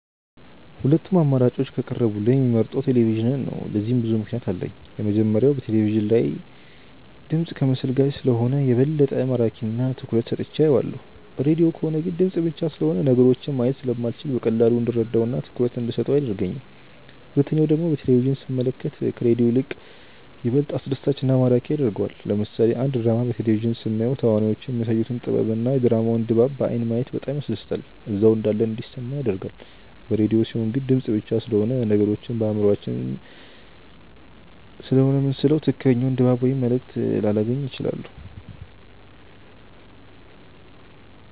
ሁለቱም አማራጮች ከቀረቡልኝ የምመርጠው ቴሌቪዥንን ነው። ለዚህም ብዙ ምክንያት አለኝ። የመጀመሪያው በቴለቪዥን ሳይ ድምፅ ከምስል ጋር ስለሆነ የበለጠ ማራኪ እና ትኩረት ሰጥቼው አየዋለሁ። ሬድዮ ከሆነ ግን ድምፅ ብቻ ስለሆነ ነገሮችን ማየት ስለማልችል በቀላሉ እንድረዳው እና ትኩረት እንደሰጠው አያደርገኝም። ሁለተኛው ደግሞ በቴሌቪዥን ስንመለከት ከሬዲዮ ይልቅ ይበልጥ አስደሳች እና ማራኪ ያደርገዋል። ለምሳሌ አንድ ድራማ በቴሌቪዥን ስናየው ተዋናዮቹ የሚያሳዩት ጥበብ እና የድራማውን ድባብ በአይን ማየት በጣም ያስደስታል እዛው እንዳለን እንዲሰማን ያደርጋል። በሬድዮ ሲሆን ግን ድምፅ ብቻ ስለሆነ ነገሮችን በአእምሯችን ስሴሆነ የምንስለው ትክክለኛውን ድባብ ወይም መልእክት ላላገኝ እችላለሁ።